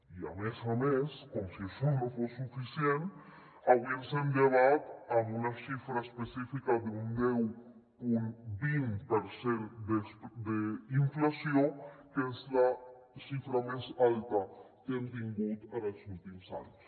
i a més a més com si això no fos suficient avui ens hem llevat amb una xifra específica d’un deu coma vint per cent d’inflació que és la xifra més alta que hem tingut en els últims anys